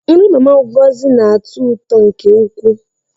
Nri Mama Ngozi na-atọ ụtọ nke ukwuu.